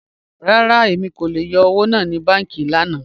Rárá, Emi kò lè yọ́ owo naa kúrò ni bànkí lànà.